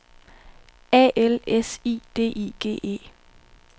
A L S I D I G E